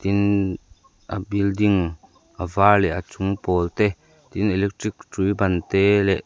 tin a building a var leh a chung pawl te tin electric hrui ban te leh--